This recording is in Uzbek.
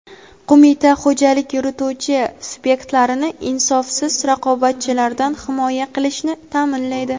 Qo‘mita xo‘jalik yurituvchi subyektlarni insofsiz raqobatchilardan himoya qilishni taʼminlaydi.